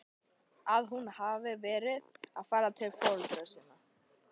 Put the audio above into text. Að hún hefði verið að fara til foreldra sinna?